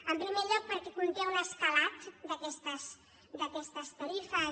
en primer lloc perquè conté un escalat d’aquestes tarifes